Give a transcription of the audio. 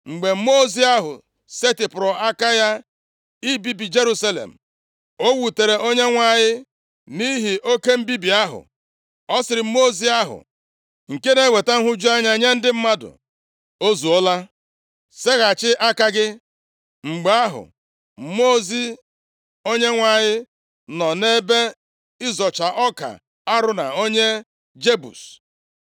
Mgbe mmụọ ozi ahụ setịpụrụ aka ya ibibi Jerusalem, o wutere Onyenwe anyị nʼihi oke mbibi ahụ. Ọ sịrị mmụọ ozi ahụ nke na-eweta nhụju anya nye ndị mmadụ, “O zuola. Seghachi aka gị.” Mgbe ahụ, mmụọ ozi Onyenwe anyị nọ nʼebe ịzọcha ọka Arauna onye Jebus.